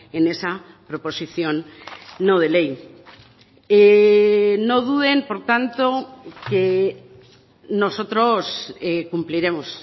en esa proposición no de ley no duden por tanto que nosotros cumpliremos